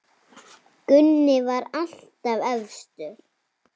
Gunni var alltaf efstur.